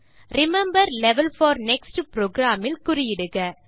remember level four next program இல் குறியிடுக